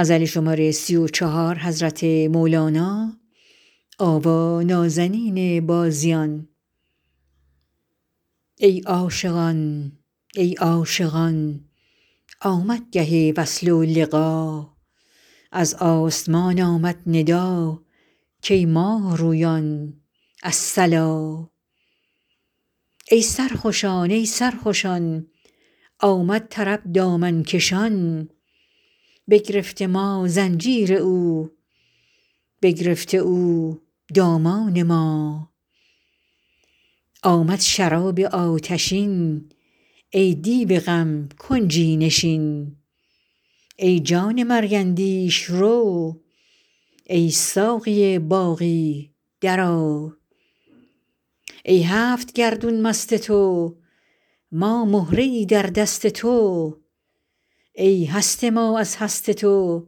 ای عاشقان ای عاشقان آمد گه وصل و لقا از آسمان آمد ندا کای ماه رویان الصلا ای سرخوشان ای سرخوشان آمد طرب دامن کشان بگرفته ما زنجیر او بگرفته او دامان ما آمد شراب آتشین ای دیو غم کنجی نشین ای جان مرگ اندیش رو ای ساقی باقی درآ ای هفت گردون مست تو ما مهره ای در دست تو ای هست ما از هست تو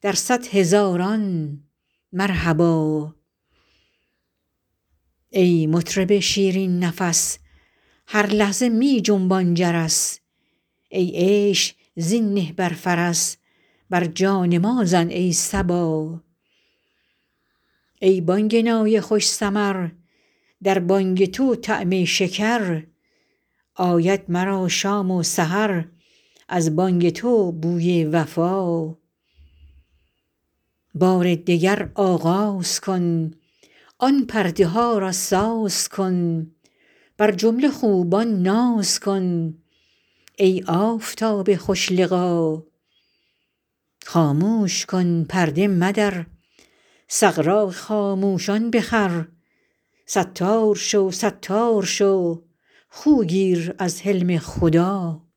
در صد هزاران مرحبا ای مطرب شیرین نفس هر لحظه می جنبان جرس ای عیش زین نه بر فرس بر جان ما زن ای صبا ای بانگ نای خوش سمر در بانگ تو طعم شکر آید مرا شام و سحر از بانگ تو بوی وفا بار دگر آغاز کن آن پرده ها را ساز کن بر جمله خوبان ناز کن ای آفتاب خوش لقا خاموش کن پرده مدر سغراق خاموشان بخور ستار شو ستار شو خو گیر از حلم خدا